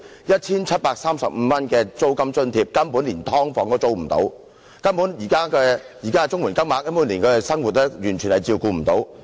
一千七百三十五元的租金津貼根本連"劏房"也無法租住，現時的綜援金額連他們的生活也完全無法照顧。